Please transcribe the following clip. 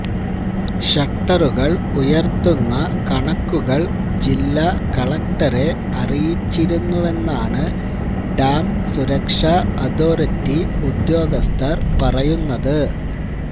ഷട്ടറുകൾ ഉയർത്തുന്ന കണക്കുകൾ ജില്ലാ കലക്ടറെ അറിയിച്ചിരുന്നുവെന്നാണ് ഡാം സുരക്ഷാ അഥോറിറ്റി ഉദ്യോഗസ്ഥർ പറയുന്നത്